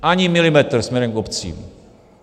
Ani milimetr směrem k obcím.